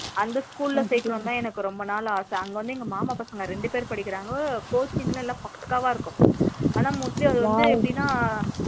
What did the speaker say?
அந்த school லா சேர்க்கணும்னுதா ரொம்ப நாள் ஆசை அங்க வந்து மாமா பசங்க ரெண்டு பேரு படிக்குறாங்க coaching லா பக்கவா இருக்கும் ஆனா mostly அங்க வந்து எபிடினா